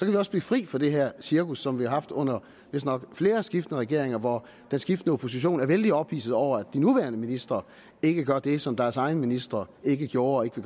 vi også blive fri for det her cirkus som vi har haft under vist nok flere skiftende regering hvor den skiftende opposition er vældig ophidset over at de nuværende ministre ikke gør det som deres egen ministre ikke gjorde og ikke